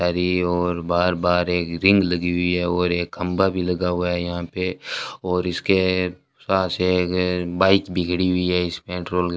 हरी ओर बार-बार एक रिंग लगी हुई है और एक खंभा भी लगा हुआ है यहां पे और इसके पास है अगर बाइक बिगड़ी हुई है इस पेट्रोल --